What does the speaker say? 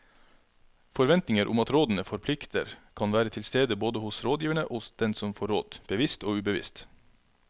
Forventninger om at rådene forplikter kan være til stede både hos rådgiverne og hos den som får råd, bevisst og ubevisst.